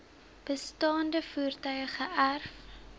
bestaande voertuie geërf